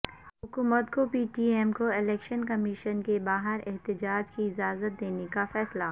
حکومت کو P D M کو الیکشن کمیشن کے باہر احتجاج کی اجازت دینےکا فیصلہ